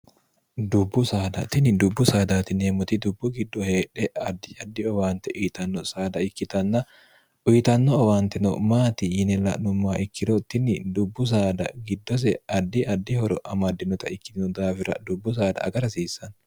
dubbu sdtii dubbu saadatineemmoti dubbu giddo heedhe diaddiowaante uyitanno sada ikkitnn uyitanno owaantino maati yine la'nummaa ikkiro tinni dubbu saada giddose addi addi horo amaddinota ikkitino daawira dubbu saada aga rasiissanno